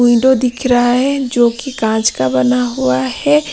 Window दिख रहा है जो कि कांच का बना हुआ है।